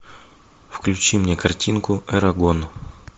включи мне картинку эрагон